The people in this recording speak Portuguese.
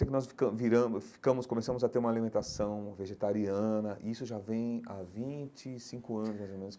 Eu sei que nós ficamos viramos ficamos começamos a ter uma alimentação vegetariana, e isso já vem há vinte e cinco anos, mais ou menos.